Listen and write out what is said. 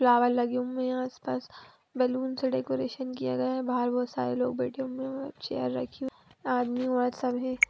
flower लगे हुए हैं आस पास बैलून से डेकरैशन किया गए है बाहर बहोत सारे लोग बेठे हुए है चेयर रखी हुई है आदमी बोहोत सारे हैं |